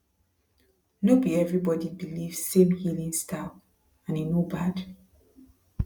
no be everybody believe same healing style and e no bad